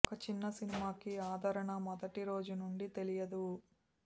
ఒక చిన్న సినిమాకి ఆధారణ మొదటి రోజు నుండి తెలియదు